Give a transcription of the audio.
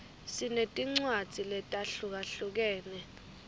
sinetincwadzi letahlukahlukene